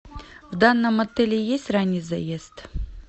в данном отеле есть ранний заезд